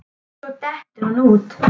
Svo dettur hann út.